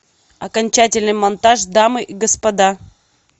окончательный монтаж дамы и господа